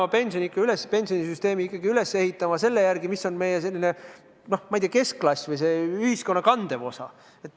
Me peame oma pensionisüsteemi ikkagi üles ehitama selle järgi, milline on meie, ma ei tea, keskklass või ühiskonna kandev osa.